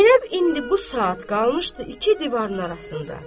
Zeynəb indi bu saat qalmışdı iki divarın arasında.